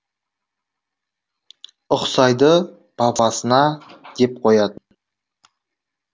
ұқсайды бабасына деп қоятын